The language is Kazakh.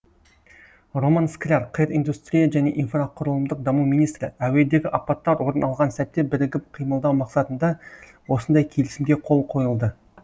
роман скляр қр индустрия және инфрақұрылымдық даму министрі әуедегі апаттар орын алған сәтте бірігіп қимылдау мақсатында осындай келісімге қол қойылды